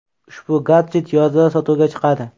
Ushbu gadjet yozda sotuvga chiqadi.